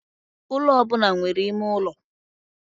Ụlọ ọ bụla nwere ime ụlọ.